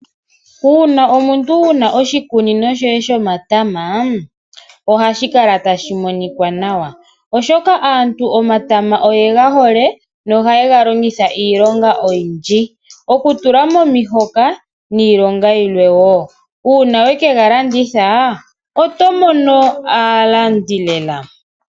Uuna omuntu wuna oshikunino shoye shomatama ohashi kala tashi monika nawa , oshoka aantu omatama oyega hole nohaye ga longitha iilonga oyindji oku tula momihoka niilonga yimwe wo. Uuna weke ga landitha oto mono aalandi lela.